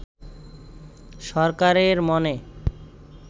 সরকারের মনে